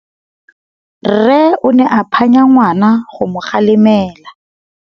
Rre o ne a phanya ngwana go mo galemela.